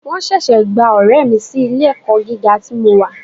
Wọ́n ṣẹ̀ṣẹ̀ gba ọ̀rẹ́ mi sí ilé ẹ̀kọ́ gíga tí mo wà.